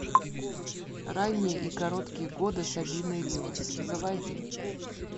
ранние и короткие годы сабины ривас заводи